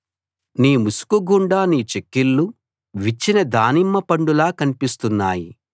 నీ ముసుకుగుండా నీ చెక్కిళ్ళు విచ్చిన దానిమ్మ పండులా కన్పిస్తున్నాయి